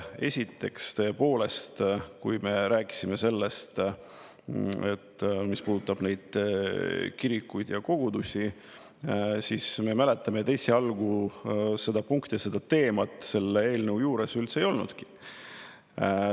Esiteks, tõepoolest, kui me rääkisime sellest, mis puudutab neid kirikuid ja kogudusi, siis me mäletame, et esialgu seda punkti, seda teemat selle eelnõu juures üldse ei olnudki.